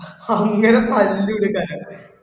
അങ്ങനെ പല്ലൂര്